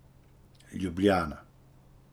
Ljubljana.